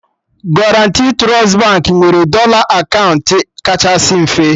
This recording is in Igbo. Guarantee Trust Baankị nwere dọla akaụntụ kachasị mfe